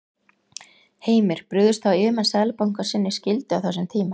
Heimir: Brugðust þá yfirmenn Seðlabankans sinni skyldu á þessum tíma?